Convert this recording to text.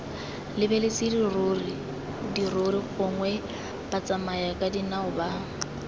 lebeletse dirori gongwe batsamayakadinao ba